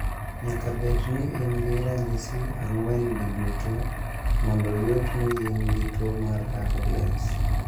Nyaka bed ni in gi ranyisi ang�wen gi duto mondo oyud ni in gi tuo mar RLS.